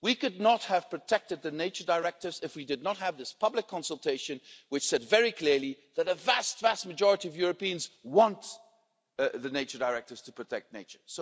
We could not have protected the nature directives if we did not have this public consultation, which said very clearly that the vast, vast majority of Europeans want the nature directives to protect nature.